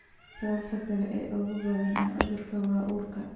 Sababta kale ee ugu badan ee cudurka waa uurka.